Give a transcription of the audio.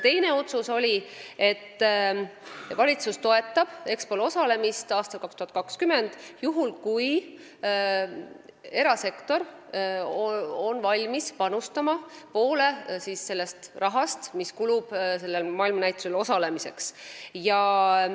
Teine otsus oli selline, et valitsus toetab meie esindatust 2020. aasta Expol juhul, kui erasektor on valmis panustama poole sellest rahast, mis kulub maailmanäitusel osalemiseks.